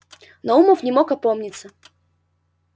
нарумов не мог опомниться